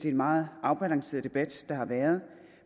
en meget afbalanceret debat der har været